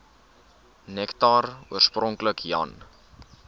nektar oorspronklik jan